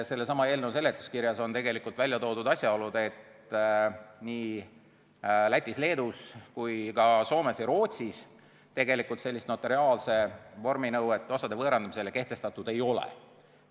Sellesama eelnõu seletuskirjas on välja toodud asjaolu, et nii Lätis ja Leedus kui ka Soomes ja Rootsis sellist notariaalset vorminõuet osade võõrandamise suhtes kehtestatud ei ole.